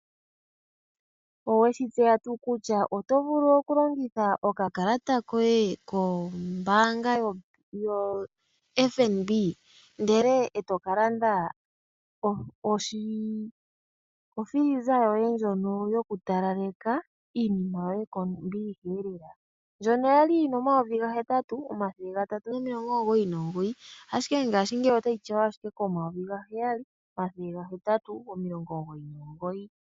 Owe shi tseya tuu kutya oto vulu okulongitha okakalata koye kombaanga yoFNB okulanda ofiliza yoye yokutalaleka iinima yoye kombiliha? Ndjono ya li yi na N$ 8 399, ihe ngashingeyi otayi tyawa ashike koN$ 7 899.